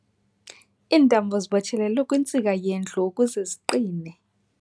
Iintambo zibotshelelwe kwintsika yendlu ukuze ziqine.